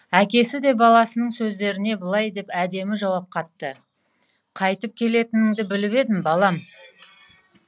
әкесі де баласының сөздеріне былай деп әдемі жауап қатты қайтіп келетіңді біліп едім балам